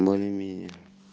лови меня